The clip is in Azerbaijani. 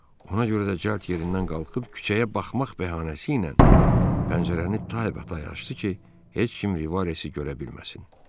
Ona görə də cəld yerindən qalxıb küçəyə baxmaq bəhanəsi ilə pəncərəni taybatay açdı ki, heç kim Rivası görə bilməsin.